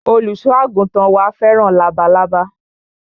Olùsọ àgùntàn wa fẹ́ràn labalábá